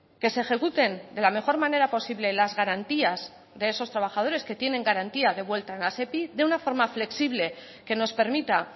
que se ejecuten de la mejor manera posible las garantías de esos trabajadores que tienen garantía de vuelva a la sepi de una forma flexible que nos permita